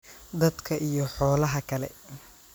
dadka iyo xoolaha kale,